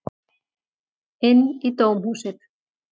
Inn í dómhúsið.